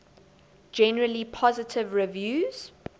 generally positive reviews